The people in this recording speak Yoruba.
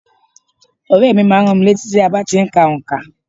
Ọ̀rẹ́ mi má a n rán mi létí bí a ti n ka onkà